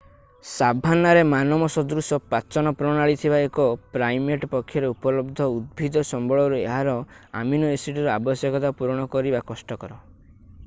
ସାଭାନ୍ନାରେ ମାନବ ସଦୃଶ ପାଚନ ପ୍ରଣାଳୀ ଥିବା ଏକ ପ୍ରାଇମେଟ୍‌ ପକ୍ଷରେ ଉପଲବ୍ଧ ଉଦ୍ଭିଦ ସମ୍ବଳରୁ ଏହାର ଆମିନୋ-ଏସିଡ୍‌ର ଆବଶ୍ୟକତା ପୂରଣ କରିବା କଷ୍ଟକର।